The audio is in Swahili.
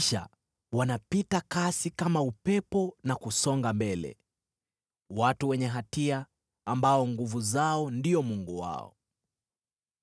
Kisha wanapita kasi kama upepo na kusonga mbele: watu wenye hatia, ambao nguvu zao ndio mungu wao.”